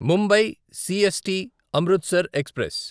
Mumbai CST Amritsar express